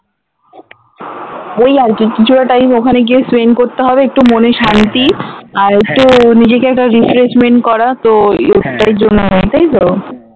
ওই আরকি কিছুতা time ওখানে গিয়ে spend করতে হবে একটু মনের শান্তি আর একটু নিজেকে একটা refreshment করা তো জন্য তাইতো?